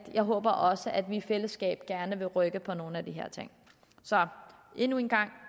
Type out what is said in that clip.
jeg håber også at vi i fællesskab gerne vil rykke på nogle af de her ting så endnu en gang